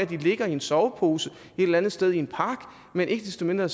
de ligger i en sovepose et eller andet sted i en park men ikke desto mindre